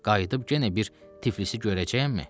Qayıdıb yenə bir Tiflisi görəcəyəmmi?